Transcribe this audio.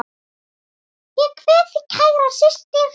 Ég kveð þig kæra systir.